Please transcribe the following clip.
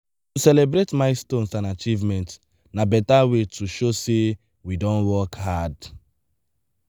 to celebrate milestones and achievements na beta way to show sey we don work hard.